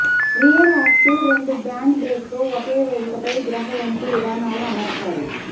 rear axle రెండు band brake తో ఒకే వేదికపై గ్రహ వంపు విధానాల అమర్చారు